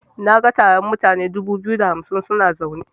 Naga taron mutane dubu biyu da hamsin suna zaune.